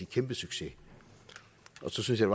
kæmpesucces så synes jeg